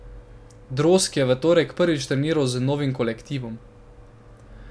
Drozg je v torek prvič treniral z novim kolektivom.